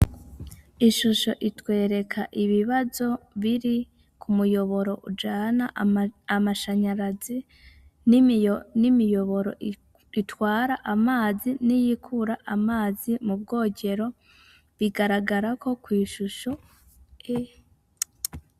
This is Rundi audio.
Ishusho itwereka ibibazo biri ku muyoboro ujana amashanyarazi n'imiyoboro itwara amazi n'iyikura amazi mu bwogero bigaragarako kw'ishusho e.